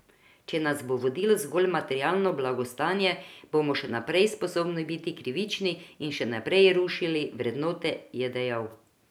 Če nas bo vodilo zgolj materialno blagostanje, bomo še naprej sposobni biti krivični in še naprej rušili vrednote, je dejal.